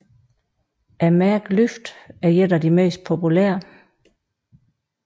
Mærket LYFT er ét af de mest populære